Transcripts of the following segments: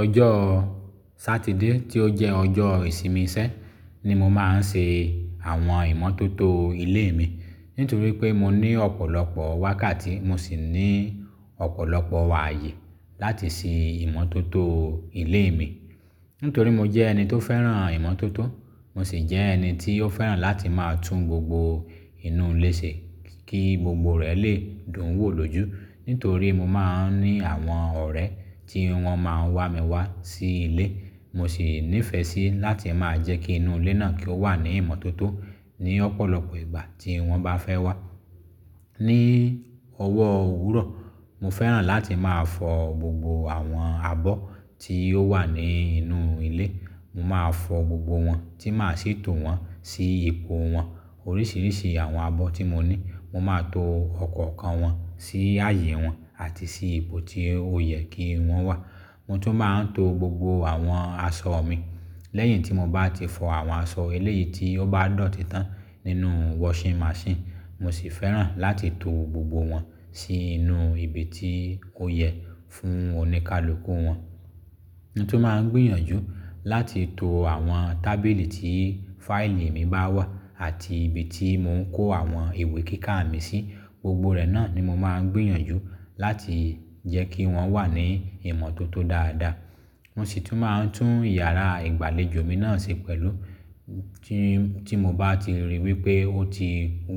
Ọjọ́ Sátidé tó jẹ́ ọjọ́ ìsinmi sé ni mo máa ń ṣe àwọn ìmọ́tótó ilé mi. Nítorí pé mo ní ọ̀pọ̀lọpọ̀ wákàtí, mo sì ní ọ̀pọ̀lọpọ̀ ààyè láti ṣe ìmọ́tótó ilé mi. Nítorí mo jẹ́ ẹni tó fẹ́ràn ìmọ́tótó, mo sì jẹ́ ẹni tí ó fẹ́ràn láti máa tún gbogbo inú ilé ṣe kí gbogbo rẹ̀ lè dùn wò lójú. Nítorí mo máa ń ní àwọn ọ̀rẹ́ tí wọ́n máa ń wá mi wá sí ilé, mo sì nífẹ̀ẹ́ sí láti máa jẹ́ kí inú ilé náà kí ó wà ní ìmọ́tótó ní ọ̀pọ̀lọpọ̀ ìgbà tí wọ́n bá fẹ́ wá. Ni ọwọ́ òwúrọ̀, mo fẹ́ràn láti máa fọ gbogbo àwọn abọ́ tí ó wà ní inú ilé. Mo máa fọ gbogbo wọn tí máa sì to wọn sí ipò wọn. Oríṣìíríṣìí àwọn abọ́ tí mo ní, mo máa to ọ̀kọ̀ọ̀kan wọn sí àyè wọn àti sí ipò tí ó yẹ kí wọ́n wà. Mo tún máa ń to gbogbo àwọn aṣọ mi lẹ́yìn tí mo bá ti fọ àwọn aṣọ eléyìí tí ó bá dọ́títán nínú washing machine, mo sì fẹ́ràn láti to gbogbo wọn sí inú ibi tí ó yẹ fún oníkálùkù wọn. Mo tún máa ń gbìyànjú láti to àwọn tábìlì tí fáìlì mi bá wà àti ibi tí mo ń kó àwọn ìwé kíkà mi sí, gbogbo rẹ̀ náà ni mo máa ń gbìyànjú láti jẹ́ kí wọ́n wà ní ìmọ́tótó dáadáa. Mo sì tún máa ń tún iyàrá ìgbàlejò mi náà ṣe pẹ̀lú tí, tí mo bá ti ríi wípé ó ti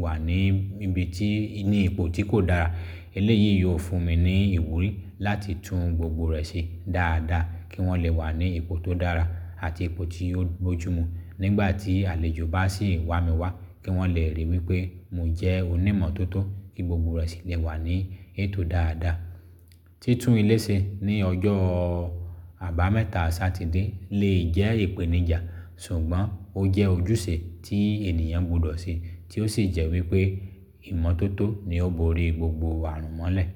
wà ní ibi tí, ní ipò tí kò dára. Eléyìí yóò fún mi ní ìwúrí láti tún gbogbo rẹ̀ ṣe dáadáa kí wọ́n lè wà ní ipò tó dára àti ipò tí yóò bójú mu nígbà tí àlejò bá sì wá mi wá kí wọ́n lè ríi wípé mo jẹ́ onímọ́tótó kí gbogbo rẹ̀ sì lè wà ní ètò dáadáa. Tí tún ilé ṣe ní ọjọ́ àbámẹ́ta Sátidé lè jẹ́ ìpèníjà, ṣùgbọ́n ó jẹ́ ojúṣe tí ènìyàn gbọdọ̀ ṣe tí ó sì jẹ́ wípé ìmọ́tótó ni ó borí gbogbo àrùn mọ́lẹ̀.